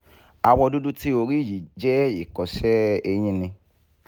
awọ dudu ti o ri yii jẹ ikọsẹ eyin ni